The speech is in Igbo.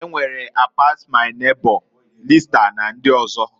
E nwere I-pass-my neighbor, lista, na ndị ọzọga.